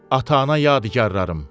Ata-ana yadigarlarım?